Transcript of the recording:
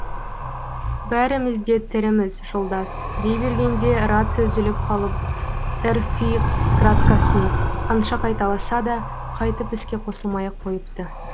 бәріміз де тіріміз жолдас дей бергенде рация үзіліп қалып эрфви краткасын қанша қайталаса да қайтып іске қосылмай ақ қойыпты